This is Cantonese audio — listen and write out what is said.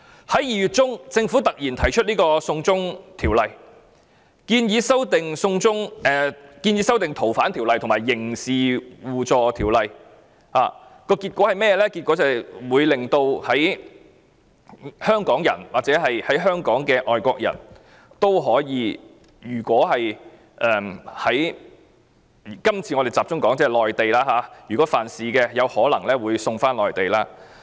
在2月中，政府突然提出《2019年逃犯及刑事事宜相互法律協助法例條例草案》，結果會導致香港人或在香港的外國人——我們今次集中談內地——如果曾在內地犯事，有可能會被送返內地。